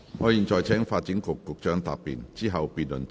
我現在請發展局局長答辯，之後辯論即告結束。